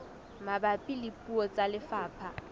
mabapi le puo tsa lefapha